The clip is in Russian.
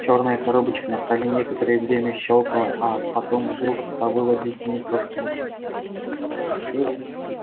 чёрная коробочка на столе некоторое время щёлкала а потом вдруг завыла дикими кошками чего блять